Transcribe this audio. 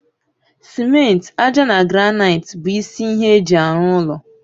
simenti, ájá na granaiti bụ isi ihe eji arụ ụlọ